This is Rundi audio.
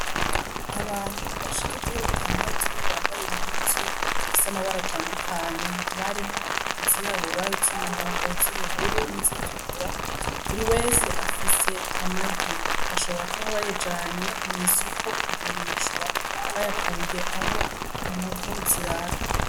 Abantu bashika muri batandatu bambaye impuzu zifise amabara atandukanye, hakaba harimwo izirabura, iz'umuhondo, iz'ubururu n'izitukura. Buri wese afise amagi, bashobora kuba bayajanye mw'isoko kugurishwa, bayakuye aho inkoko zirara.